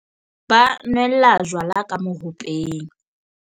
ba nwella jwala ka mohopeng